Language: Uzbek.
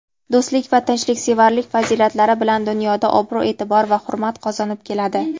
do‘stlik va tinchliksevarlik fazilatlari bilan dunyoda obro‘-eʼtibor va hurmat qozonib keladi.